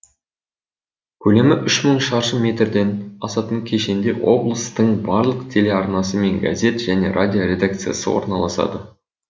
көлемі үш мың шаршы метрден асатын кешенде облыстың барлық телеарнасы мен газет және радио редакциясы орналасады